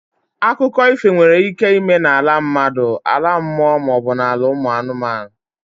Akụkọ ifo nwere ike ịme n'ala mmadụ, ala mmụọ maọbụ ala ụmụ anụmanụ.